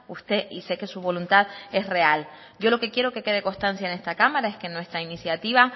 usted y sé que su voluntad es real yo lo que quiero que quede constancia en esta cámara es que nuestra iniciativa